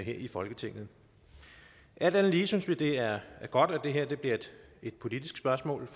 i folketinget alt andet lige synes vi det er godt at det her bliver et politisk spørgsmål